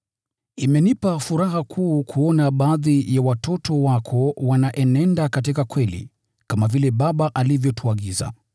Imenipa furaha kuu kuona baadhi ya watoto wako wanaenenda katika kweli, kama vile Baba alivyotuagiza.